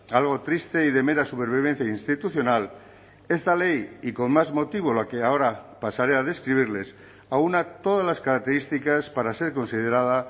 algo triste y de mera supervivencia institucional esta ley y con más motivo la que ahora pasaré a describirles aúna todas las características para ser considerada